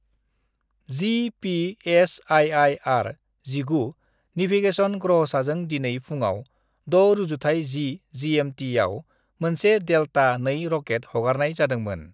GPS आइ.आइ.आर-19 navigation ग्रहसाजों दिनै फुङाव 06:10 जि.एम.टि.याव मोनसे डेल्टा II रकेट हगारनाय जादोंमोन।